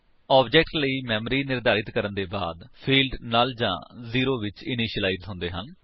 object ਲਈ memory ਨਿਰਧਾਰਤ ਕਰਨ ਦੇ ਬਾਅਦ ਫਿਲਡਸ ਨੁੱਲ ਜਾਂ ਜ਼ੇਰੋ ਵਿੱਚ ਇਨਿਸ਼ੀਲਾਇਜ ਹੁੰਦੇ ਹਨ